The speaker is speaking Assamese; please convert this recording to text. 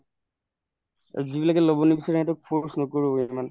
আৰু যিবিলাকে লব নিবিচাৰে সিহঁতক force নকৰো ইমান